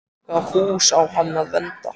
Í hvaða hús á hann að venda?